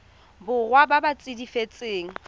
borwa ba ba ts setifikeite